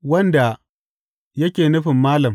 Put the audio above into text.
Wanda yake nufin Malam.